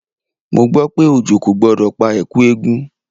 Mo gbọ́ pé òjò kò gbọdọ̀ pa Ẹ̀kú eégún.